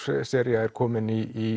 sería er komin í